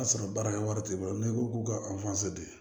A sɔrɔ baarakɛ wari t'i bolo n'i ko k'u ka di